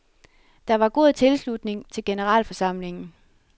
Der var god tilslutning til generalforsamlingen.